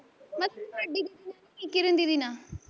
ਮਾਸੀ ਵੱਡੀ ਦੀਦੀ ਨਾਲ਼ ਨੀ, ਕਿਰਨ ਦੀਦੀ ਨਾਲ,